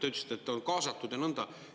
Te ütlesite, et on kaasatud ja nõnda.